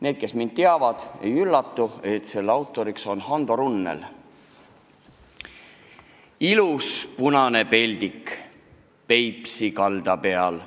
Need, kes mind teavad, ei üllatu, kui ütlen, et autor on Hando Runnel: "Ilus punane peldik Peipsi kalda peal.